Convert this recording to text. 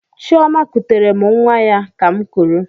Chioma kutere m nwa ya ka'm kuru.